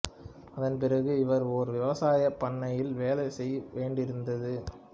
அதன் பிறகு இவர் ஒரு விவசாயப் பண்ணையில் வேலை செய்ய வேண்டியிருந்தது